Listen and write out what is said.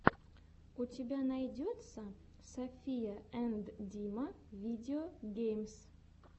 у тебя найдется софия энд дима видео геймс